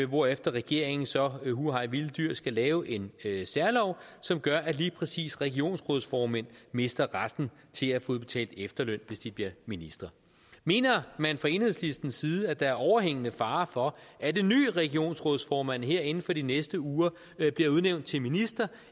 hvorefter regeringen så hu hej vilde dyr skal lave en særlov som gør at lige præcis regionsrådsformænd mister retten til at få udbetalt efterløn hvis de bliver ministre mener man fra enhedslistens side at der er overhængende fare for at en ny regionsrådsformand her inden for de næste uger bliver udnævnt til minister